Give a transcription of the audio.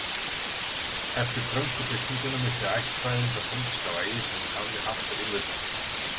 Eftir frönsku byltinguna missti ættfræðin það pólitíska vægi sem hún hafði haft á einveldistímanum.